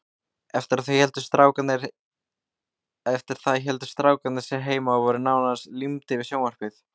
Eftir það héldu strákarnir sig heima og voru nánast límdir við sjónvarpið.